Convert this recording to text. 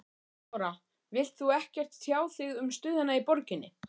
Lára: Vilt þú ekkert tjá þig um stöðuna í borginni?